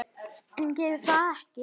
En geri það ekki.